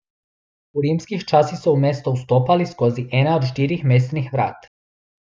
V rimskih časih so v mesto vstopali skozi ena od štirih mestnih vrat.